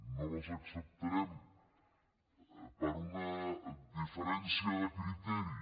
no les acceptarem per una diferència de criteri